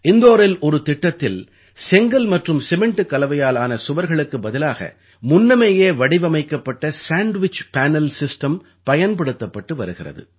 இந்தோரில் ஒரு திட்டத்தில் செங்கல் மற்றும் சிமெண்டுக் கலவையால் ஆன சுவர்களுக்கு பதிலாக முன்னமேயே வடிவமைக்கப்பட்ட சாண்ட்விச் பேனல் சிஸ்டம் பயன்படுத்தப்பட்டு வருகிறது